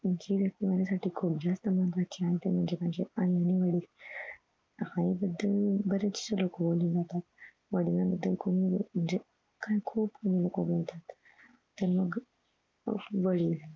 जी व्यक्ती माझ्यासाठी खुप जास्त महत्वाची आहे ते म्हणजे माझे आई आणि वडील आई, आई बदल बरेचसे लोक बोलून जातात वडिलांन बदल कोणी म्हणजे कारण खूप लोक बोलतात मग वडील